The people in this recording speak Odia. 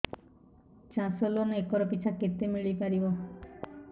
ଚାଷ ଲୋନ୍ ଏକର୍ ପିଛା କେତେ ମିଳି ପାରିବ